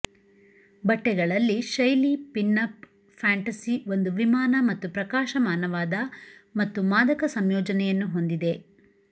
ಬಟ್ಟೆಗಳಲ್ಲಿ ಶೈಲಿ pin up fantasy ಒಂದು ವಿಮಾನ ಮತ್ತು ಪ್ರಕಾಶಮಾನವಾದ ಮತ್ತು ಮಾದಕ ಸಂಯೋಜನೆಯನ್ನು ಹೊಂದಿದೆ